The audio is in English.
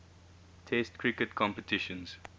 test cricket competitions